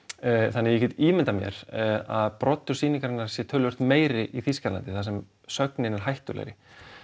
þannig ég get ímyndað mér að broddur sýningarinnar sé töluvert meiri í Þýskalandi þar sem sögnin er hættulegri